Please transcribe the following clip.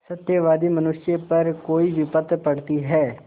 सत्यवादी मनुष्य पर कोई विपत्त पड़ती हैं